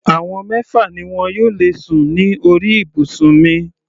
Àwọn mẹ́fà ni wọn yóò lè sùn ní orí ibùsùn mi.